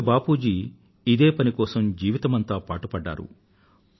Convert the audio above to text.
పూజ్య బాపూజీ ఇదే పని కోసం జీవితమంతా పాటుపడ్డారు